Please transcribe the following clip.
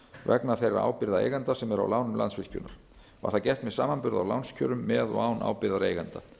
vegna þeirra ábyrgða eigenda sem eru á lánum landsvirkjunar var það gert með samanburði á lánskjörum með og án ábyrgðar eigenda